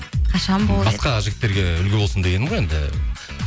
қашан болды басқа жігіттерге үлгі болсын дегенім ғой енді